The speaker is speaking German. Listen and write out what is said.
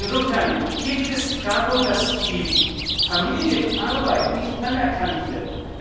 Insofern geht es hier darum, dass die Familienarbeit nicht anerkannt wird.